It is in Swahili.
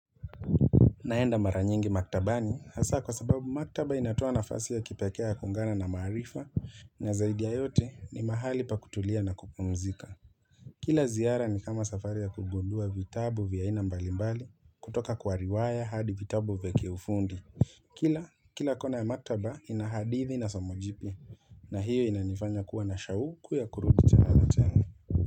Naenda mara nyingi maktabani hasa kwa sababu maktaba inatoa nafasi ya kipekee ya kuungana na maarifa Nazaidi ya yote ni mahali pa kutulia na kupumzika Kila ziara ni kama safari ya kugundua vitabu vya aina mbalimbali kutoka kwa riwaya hadi vitabu vya kiufundi Kila, kila kona ya maktaba inahadithi na somojipya na hiyo inanifanya kuwa na shauku ya kurudi tena na tena.